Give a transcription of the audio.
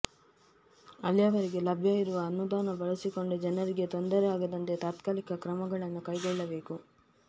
ಅಲ್ಲಿಯವರೆಗೆ ಲಭ್ಯ ಇರುವ ಅನುದಾನ ಬಳಸಿಕೊಂಡು ಜನರಿಗೆ ತೊಂದರೆಯಾಗದಂತೆ ತಾತ್ಕಾಲಿಕ ಕ್ರಮಗಳನ್ನು ಕೈಗೊಳ್ಳಬೇಕು